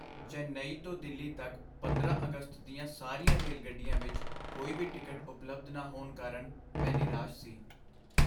ਚੇਨਈ ਤੋਂ ਦਿੱਲੀ ਤੱਕ ਪੰਦਰਾਂ ਅਗਸਤ ਦੀਆਂ ਸਾਰੀਆਂ ਰੇਲਗੱਡੀਆਂ ਵਿਚ ਕੋਈ ਵੀ ਟਿਕਟ ਉਪਲਬਧ ਨਾ ਹੋਣ ਕਾਰਨ ਮੈਂ ਨਿਰਾਸ਼ ਸੀ